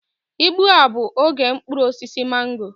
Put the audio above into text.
Igbu a bụ oge mkpụrụ osisi mango